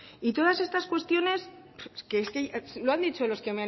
y todas estas cuestiones es que lo han dicho